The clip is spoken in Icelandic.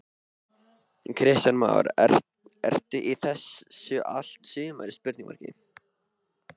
Kristján Már: Ertu í þessu allt sumarið?